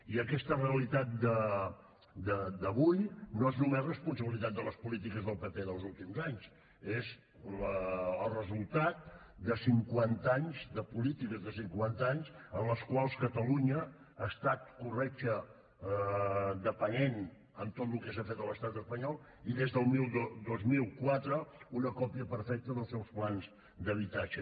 i aquesta realitat d’avui no és només responsabilitat de les polítiques del pp dels últims anys és el resultat de cinquanta anys de polítiques de cinquanta anys en els quals catalunya ha estat corretja dependent en tot el que s’ha fet a l’estat espanyol i des del dos mil quatre una còpia perfecta dels seus plans d’habitatge